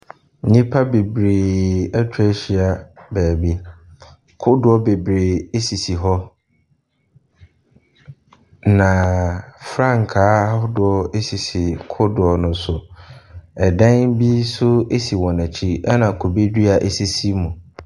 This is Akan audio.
Nnipa bebree atwa ahyia beebi, kodoɔ bebree sisi hɔ. na frankaa ahodoɔ sisi kodoɔ ne so. Dan bi nso si wɔn akyi na kube dua sisi so.